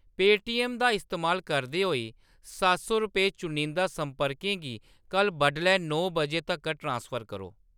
Paytm दा इस्तेमाल करदे होई सत्त सौ रपेऽ चुनिंदा संपर्कें गी कल्ल बड्डलै नौ बजे तगर ट्रांसफर करो ।